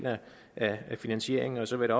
af finansieringen så vil